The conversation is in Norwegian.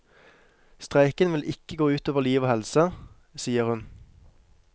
Streiken vil ikke gå utover liv og helse, sier hun.